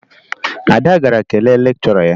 Ada gara kelee lekchọra ya